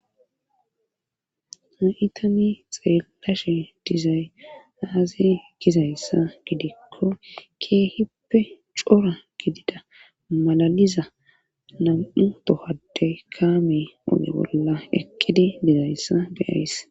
ha7itani xeelashe dizay aaze gizayssa gidikko keehippe cora gidida malaliza nam7u tohade kaame oge bolla eqqidi dizayssa beyays